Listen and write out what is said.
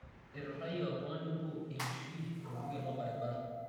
eiturayie oltung'ani obo enkishui tolbuket lorbaribara